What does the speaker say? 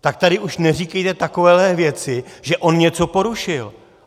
Tak tady už neříkejte takovéhle věci, že on něco porušil.